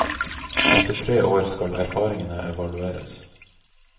Etter tre år skal erfaringene evalueres.